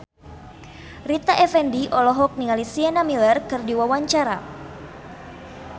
Rita Effendy olohok ningali Sienna Miller keur diwawancara